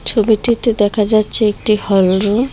ছবিটিতে দেখা যাচ্ছে একটি হল রুম ।